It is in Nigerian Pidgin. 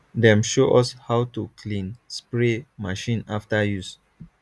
dem show us how to clean spray machine after use